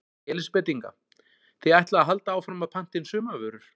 Elísabet Inga: Þið ætlið að halda áfram að að panta inn sumarvörur?